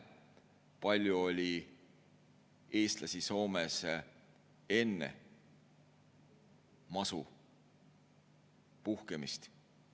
Kui palju oli eestlasi Soomes enne masu puhkemist?